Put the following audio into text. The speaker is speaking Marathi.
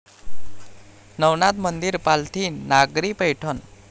नवनाथ मंदिर, पालथी नागरी पैठण